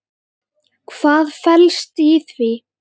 Hvað felst í því?